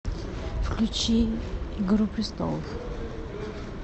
включи игру престолов